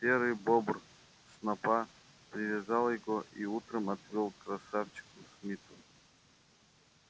серый бобр снопа привязал его и утром отвёл к красавчику смиту